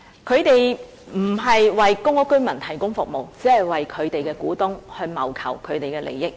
它並非為公屋居民提供服務，而是只為其股東謀求利益。